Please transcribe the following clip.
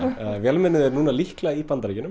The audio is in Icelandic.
vélmennið er núna líklega í Bandaríkjunum